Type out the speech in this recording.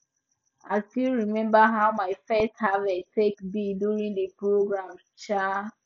i still remember how my first harvest take be during the programme um